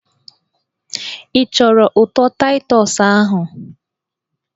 Ị chọrọ ụtọ Taịtọs ahụ?